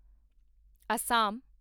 Assam